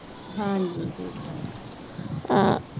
ਹਾਂਜੀ ਠੀਕ ਏ